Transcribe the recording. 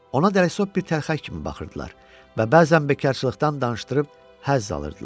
Ona dəlisov bir təlxək kimi baxırdılar və bəzən bekarsızlıqdan danışdırıb həzz alırdılar.